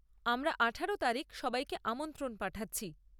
আমরা আঠারো তারিখ সবাইকে আমন্ত্রণ পাঠাচ্ছি।